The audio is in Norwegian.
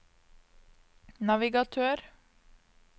navigatør